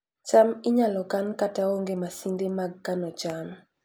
cham inyalo kan kata ka onge masinde mag kano cham